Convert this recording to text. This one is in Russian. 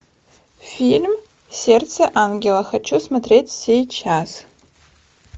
фильм сердце ангела хочу смотреть сейчас